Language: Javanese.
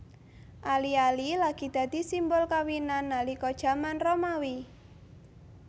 Ali ali lagi dadi simbol kawinan nalika jaman Romawi